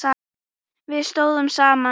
Við stóðum saman.